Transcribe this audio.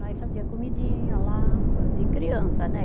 fazia comidinha lá, de criança, né?